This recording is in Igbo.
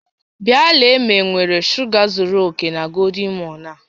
Bịa lelee ma enwere shuga zuru oke na golden morn a